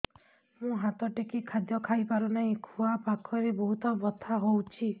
ମୁ ହାତ ଟେକି ଖାଦ୍ୟ ଖାଇପାରୁନାହିଁ ଖୁଆ ପାଖରେ ବହୁତ ବଥା ହଉଚି